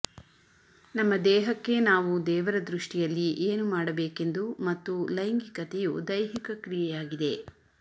ನಮ್ಮ ದೇಹಕ್ಕೆ ನಾವು ದೇವರ ದೃಷ್ಟಿಯಲ್ಲಿ ಏನು ಮಾಡಬೇಕೆಂದು ಮತ್ತು ಲೈಂಗಿಕತೆಯು ದೈಹಿಕ ಕ್ರಿಯೆಯಾಗಿದೆ